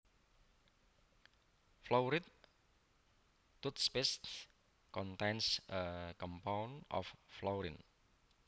Fluoride toothpaste contains a compound of fluorine